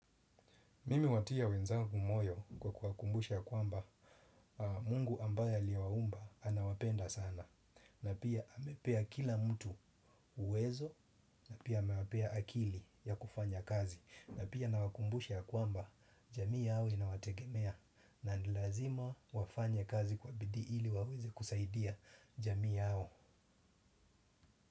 Mimi huwatia wenzangu moyo kwa kuwakumbusha kwamba mungu ambaye aliwaumba anawapenda sana na pia amepea kila mtu uwezo na pia amepea akili ya kufanya kazi na pia nawakumbusha kwamba jamii yao inawategemea na ni lazima wafanye kazi kwa bidii ili waweze kusaidia jamii yao.